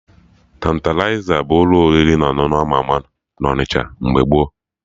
Tantalizer bụ ụlọ oriri na ọṅụṅụ ama ama na Onịsha mgbe gboo